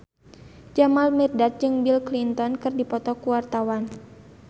Jamal Mirdad jeung Bill Clinton keur dipoto ku wartawan